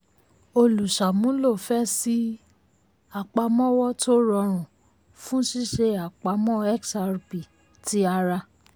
olùṣàmúlò fẹ́ ṣí um àpamọ́wọ́ tó rọrùn fún ṣíṣe àpamọ́ xrp ti ara.